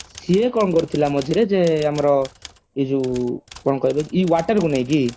ସିଏ କଣ କରିଥିଲା ମଝିରେ ଯେ ଆମର ଏଇ ଯୋଉ water କୁ ନେଇକି